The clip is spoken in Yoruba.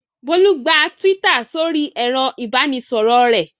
Bólú gba Twitter sórí ẹ̀rọ-ìbánisọ̀rọ̀ rẹ̀.